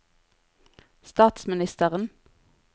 statsministeren